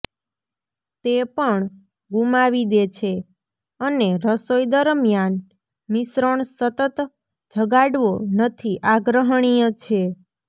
તે પણ ગુમાવી દે છે અને રસોઈ દરમ્યાન મિશ્રણ સતત જગાડવો નથી આગ્રહણીય છે